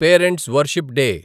parents' worship day